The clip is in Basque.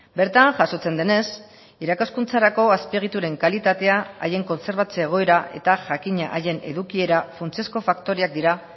bertan jasotzen denez irakaskuntzarako azpiegituren kalitatea haien kontserbatze egoera eta jakina haien edukiera funtsezko faktoreak dira